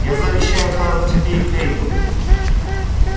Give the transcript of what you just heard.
я завещаю тару тебе и кэйду